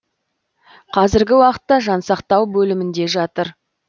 қазіргі уақытта жансақтау бөлімінде жатыр